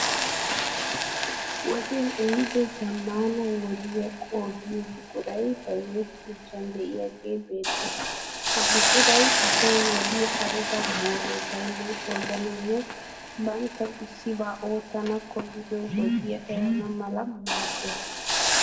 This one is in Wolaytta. Wodee ehiido zaammaana wodiya qoodiyo buquray bayizettiyoosan de'iyagee beettees. Ha buquray asay wodiya ayiba mooroy bayinnan qoodanawunne banttawu issibaa oottana koyido wodiya erana mala maaddees.